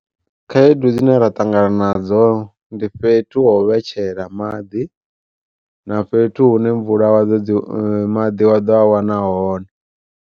Khaedu dzine ra ṱangana nadzo ndi fhethu ho u vhetshela maḓi, na fhethu hune mvula wa ḓo dzi maḓi wa ḓo a wana hone.